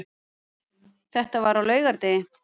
Þetta var á laugardegi.